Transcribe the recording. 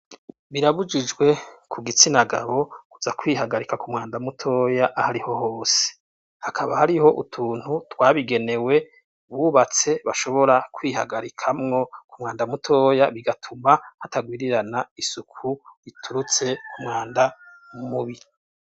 Birabujijwe ku gitsina gabo kuza kwihagarika umwanda mutoya ahariho hose hakaba hariho utuntu twabigenewe bubatse bashobora kwihagarikamwo ku mwanda mutoya bigatuma hatagwirirana isuku riturutse ku mwanda mubi.